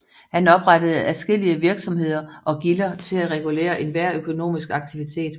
Han oprettede adskillige virksomheder og gilder til at regulere enhver økonomisk aktivitet